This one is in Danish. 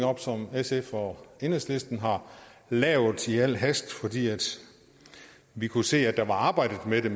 op som sf og enhedslisten har lavet i al hast fordi vi kunne se at der var arbejdet med det